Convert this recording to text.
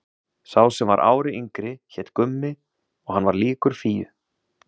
Sá sem var ári yngri hét Gummi og hann var líkur Fíu.